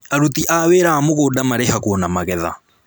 Aruti a wĩra a mũgũnda marĩhagwo na magetha